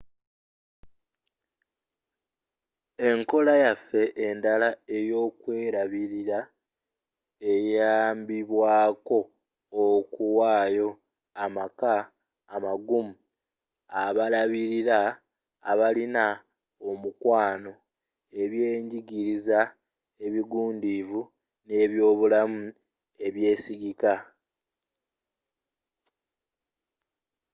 enkola yaffe endala eyokwerabirira eyambibwako okuwayo amaka amagumu abalabirira abalina omukwano ebyenjigiriza ebigundiivu n'ebyobulamu ebyesigika